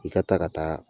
I ka taa ka taa